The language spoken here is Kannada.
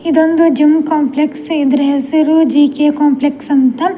ಇದೊಂದು ಜಿಮ್‌ ಕಾಂಪ್ಲೆಕ್ಸ್‌ ಇದ್ರ ಹೆಸ್ರು ಜಿ_ಕೆ ಕಾಂಪ್ಲೆಕ್ಸ್‌ ಅಂತ.